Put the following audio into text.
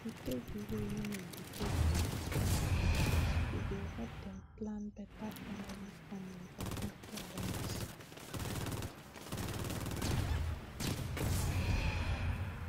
if we take d way women dem take born matter important e go help dem plan beta family family for pipu right